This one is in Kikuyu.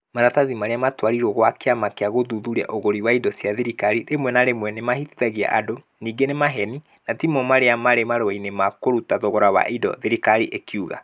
"Maratathi marĩa matwarĩirwo kwa kĩama kĩa gũthuthuria ũguri wa indo cia thirikari rĩmwe na rĩmwe nĩ mahĩtithagia andũ. Ningĩ nĩ ma maheeni , na timo marĩa marĩ marũa-inĩ ma kũruta thogora wa indo". Thirikari ĩkiuga.